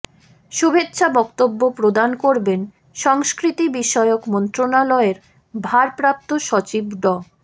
শুভেচ্ছা বক্তব্য প্রদান করবেন সংস্কৃতিবিষয়ক মন্ত্রণালয়ের ভারপ্রাপ্ত সচিব ড